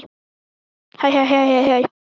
Kannski er íslenska stálið að kikka inn?